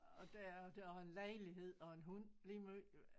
Og der der jeg har en lejlighed og en hund lige måj